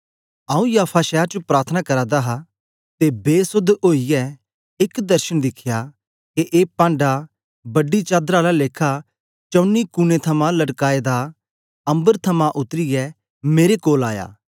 आंऊँ याफा शैर च प्रार्थना करा दा हा ते बेसोध ओईयै एक दर्शन दिखया के एक पांढा बड़ी चादर आला लेखा चौनी कुने थमां लटकाएदा दा अम्बर थमां उतरीयै मेरे कोल आया